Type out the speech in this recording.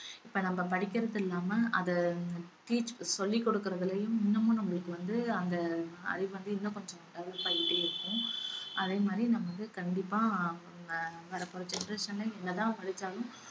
இப்ப நம்ம படிக்கிறதில்லாம அத teach சொல்லிக் கொடுக்கறதுலையும் இன்னுமும் நம்மளுக்கு வந்து அந்த அறிவு வந்து இன்னும் கொஞ்சம் develop ஆயிட்டே இருக்கும் அதே மாதிரி நம்ம வந்து கண்டிப்பா நம்ம வரப்போற generation ல என்ன தான் படிச்சாலும்